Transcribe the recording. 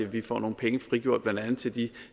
vi får nogle penge frigjort blandt andet til de